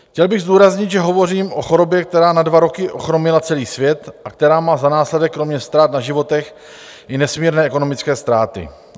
Chtěl bych zdůraznit, že hovořím o chorobě, která na dva roky ochromila celý svět a která má za následek kromě ztrát na životech i nesmírné ekonomické ztráty.